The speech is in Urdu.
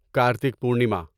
کارتک پورنیما